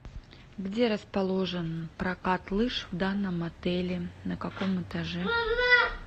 где расположен прокат лыж в данном отеле на каком этаже